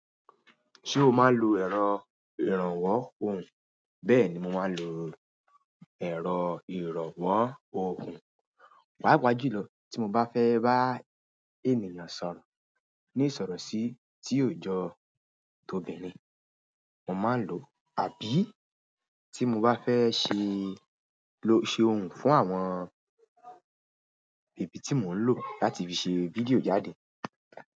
Ṣé o máa ń lo ẹ̀rọ ìrànwọ́ ohùn? Bẹ́ẹ̀ni, mo máa ń lo ẹ̀rọ ìrànwọ́ ohùn. Paapaa jùlọ tí mo bá fẹ́ bá ènìyàn sọ̀rọ̀ ní ìsọ̀rọ̀ sí tí ó jọ tobìnrin mo máa ń lò ó. Àbí tí mo bá fẹ́ ṣe lo-- ṣe ohùn fún àwọn ibi tí mò ń lò láti fi ṣe fídíò jáde.